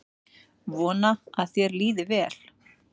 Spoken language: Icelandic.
Vona að þér líði vel.